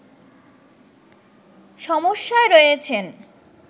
সমস্যায় রয়েছেন